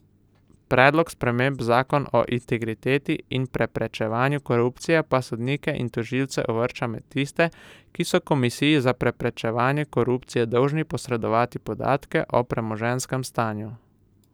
Predlog sprememb zakon o integriteti in preprečevanju korupcije pa sodnike in tožilce uvršča med tiste, ki so Komisiji za preprečevanje korupcije dolžni posredovati podatke o premoženjskem stanju.